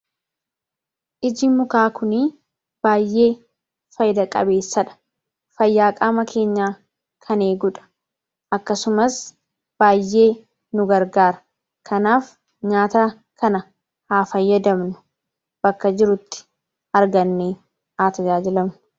Ijji mukaa kunii baayyee fayida qabeessadha. Fayyaa qaama keenyaa kan eegudha akkasumas baayyee nu gargaara. kanaaf nyaata kana haa fayyadamnu bakka jirrutti arganne haa tajaajilamnu.